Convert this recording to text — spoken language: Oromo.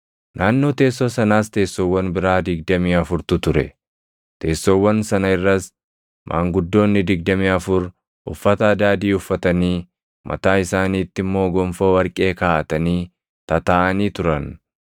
Naannoo teessoo sanaas teessoowwan biraa digdamii afurtu ture. Teessoowwan sana irras maanguddoonni digdamii afur uffata adaadii uffatanii, mataa isaaniitti immoo gonfoo warqee kaaʼatanii tataaʼanii turan.